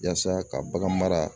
Yaasa ka bagan mara